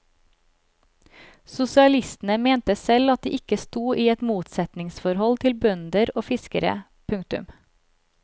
Sosialistene mente selv at de ikke stod i et motsetningsforhold til bønder og fiskere. punktum